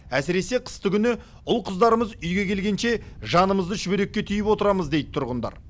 әсіресе қыстыгүні ұл қыздарымыз үйге келгенше жанымызды шүберекке түйіп отырамыз дейді тұрғындар